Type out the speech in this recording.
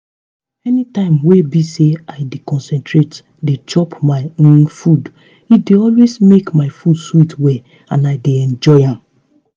anytime wey be say i dey concentrate dey chop my um food e dey always make my food sweet well and i dey enjoy am